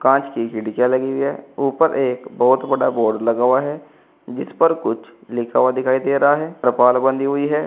कांच की खिड़कियां लगी हुई है ऊपर एक बहुत बड़ा बोर्ड लगा हुआ है जिस पर कुछ लिखा हुआ दिखाई दे रहा है त्रिपाल बंधी हुई है।